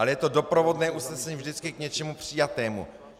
Ale je to doprovodné usnesení vždycky k něčemu přijatému.